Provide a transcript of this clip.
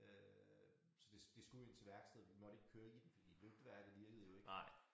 Øh så det det skulle ind til værkstedet vi måtte ikke køre i den for lygteværket virkede jo ikke